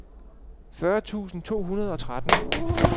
fyrre tusind to hundrede og tretten